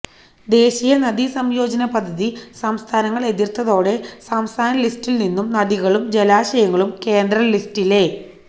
ദേശീയ നദീ സംയോജന പദ്ധതി സംസ്ഥാനങ്ങൾ എതിർത്തതോടെ സംസ്ഥാന ലിസ്റ്റിൽ നിന്നും നദികളും ജലാശയങ്ങളും കേന്ദ്ര ലിസ്റ്റിലേ